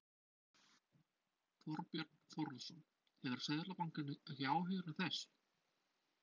Þorbjörn Þórðarson: Hefur Seðlabankinn ekki áhyggjur af þessu?